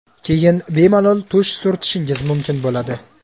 Keyin bemalol tush surtishingiz mumkin bo‘ladi.